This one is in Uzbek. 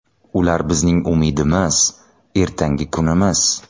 Ular bizning umidimiz, ertangi kunimiz.